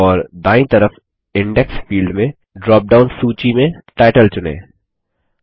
और दायीं तरफ इंडेक्स फील्ड में ड्रॉप डाउन सूची में टाइटल चुनें